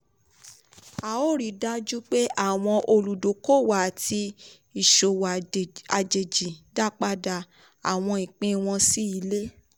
a yóò rí dájú pé àwọn olùdókòwò àti ìṣòwò àjèjì dápadà àwọn ìpín wọn sí ilé.